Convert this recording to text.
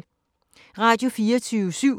Radio24syv